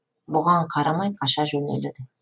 бұған қарамай қаша жөнеледі